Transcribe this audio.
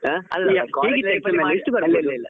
ಅಲ್ಲಲ್ಲಲ್ಲ.